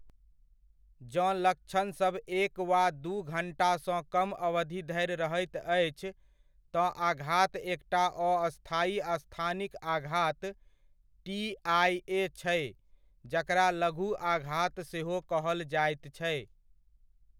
जँ लक्षणसभ एक वा दू घण्टासँ कम अवधि धरि रहैत अछि, तँ आघात एकटा अस्थायी स्थानिक आघात, टी.आइ.ए. छै जकरा लघु आघात सेहो कहल जाइत छै।